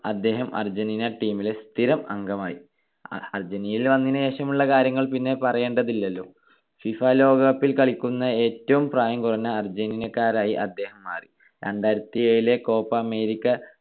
അദ്ദേഹം Argentina team ലെ സ്ഥിരം അംഗമായി. അർജന്റീനയിൽ വന്നതിനു ശേഷമുള്ള കാര്യങ്ങൾ പിന്നെ പറയേണ്ടതില്ലല്ലോ. ഫിഫ ലോകകപ്പിൽ കളിക്കുന്ന ഏറ്റവും പ്രായം കുറഞ്ഞ അർജന്റീനക്കാരായി അദ്ദേഹം മാറി. രണ്ടായിരത്തിയേഴിലെ കോപ്പ അമേരിക്ക